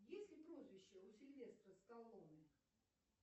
есть ли прозвище у сильвестра сталлоне